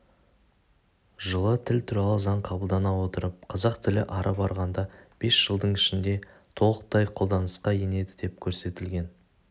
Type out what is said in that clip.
жылы тіл туралы заң қабылдана отырып қазақ тілі ары барғанда бес жылдың ішінде толықтай қолданысқа енеді деп көрсетілген